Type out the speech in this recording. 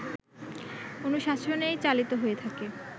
অনুশাসনেই চালিত হয়ে থাকে